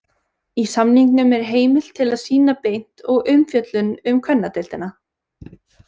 Í samningnum er heimild til að sýna beint og umfjöllun um kvennadeildina.